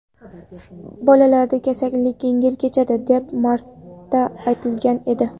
Bolalarda kasallik yengil kechadi, deb ko‘p marta aytilgan edi.